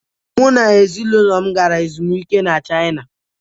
Mụ na ezinụlọ m gara ezumike na china.